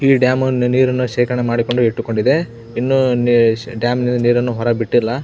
ಈ ಡ್ಯಾಮ್ ಅನ್ನು ನೀರನ್ನು ಶೇಖರಣೆಯನ್ನು ಮಾಡಿ ಇಟ್ಟುಕೊಂಡಿದೆ ಇನ್ನು ಡ್ಯಾಮ್ ನ ನೀರನ್ನು ಹೊರ ಬಿಟ್ಟಿಲ್ಲಾ.